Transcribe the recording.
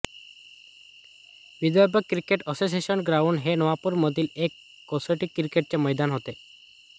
Vidarbha cricket association ground हे नागपूर मधील एक कसोटी क्रिकेटचे मैदान होते